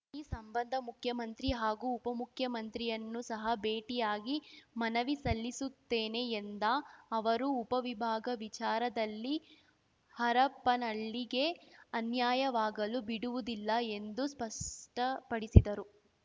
ಈ ಸಂಬಂಧ ಮುಖ್ಯಮಂತ್ರಿ ಹಾಗೂ ಉಪಮುಖ್ಯಮಂತ್ರಿಯನ್ನು ಸಹ ಭೇಟಿಯಾಗಿ ಮನವಿ ಸಲ್ಲಿಸುತ್ತೇನೆ ಎಂದ ಅವರು ಉಪವಿಭಾಗ ವಿಚಾರದಲ್ಲಿ ಹರಪನಹಳ್ಳಿಗೆ ಅನ್ಯಾಯ ವಾಗಲು ಬಿಡುವುದಿಲ್ಲ ಎಂದು ಸ್ಪಷ್ಟಪಡಿಸಿದರು